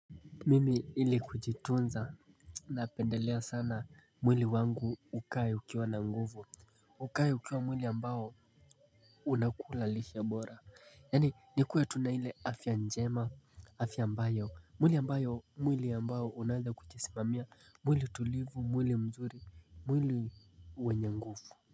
Mimi ili kujitunza napendelea sana mwili wangu ukae ukiwa na nguvu. Ukae ukiwa mwili ambao unakula lishe bora. Yani nikuwe tu na ile afya njema afya ambayo mwili ambayo mwili ambao unaeza kujisimamia mwili tulivu mwili mzuri mwili wenye nguvu.